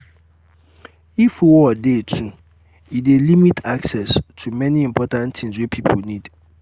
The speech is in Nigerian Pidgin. if war de too um e de limit um access to many important things wey pipo need